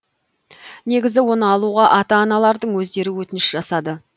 негізі оны алуға ата аналардың өздері өтініш жасады